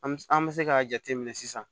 An an bɛ se k'a jate minɛ sisan